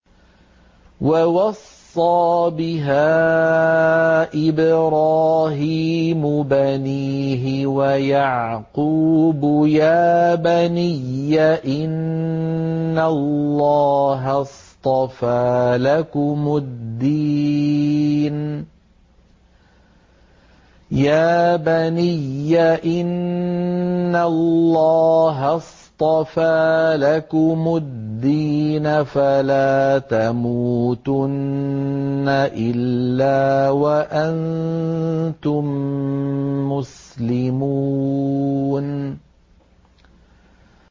وَوَصَّىٰ بِهَا إِبْرَاهِيمُ بَنِيهِ وَيَعْقُوبُ يَا بَنِيَّ إِنَّ اللَّهَ اصْطَفَىٰ لَكُمُ الدِّينَ فَلَا تَمُوتُنَّ إِلَّا وَأَنتُم مُّسْلِمُونَ